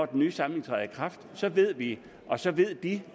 den nye samling så ved vi og så ved de